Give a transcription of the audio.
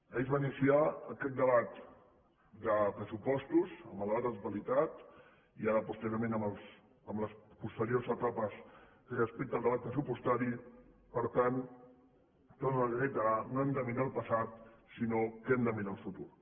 ahir es va iniciar aquest debat de pressupostos amb el debat de totalitat i ara posteriorment amb les posteriors etapes respecte al debat pressupostari per tant ho torno a reiterar no hem de mirar al passat sinó que hem de mirar al futur